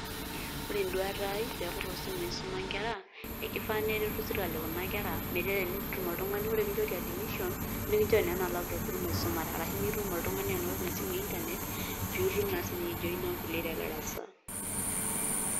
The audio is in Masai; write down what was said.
Ore eduata ai peeku tosimui isuma nkera, ekifaa neretu sirkali kuna kera, metaa enetum oltung'ani, ore kinchori admission, nikinchori naa ena laptop pitum aisumare. Arashu nitum oltung'ani anoto ina simu e Internet, pitum na siyie aijoina nkulie te darasa.